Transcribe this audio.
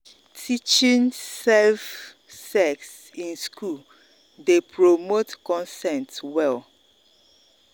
teaching safe sex in school dey promote consent well.